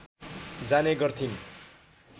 जाने गर्थिन्